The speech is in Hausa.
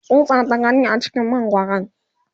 tsutsa ta gani a cikin mangwaran